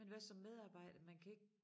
Men hvad som medarbejder man kan ikke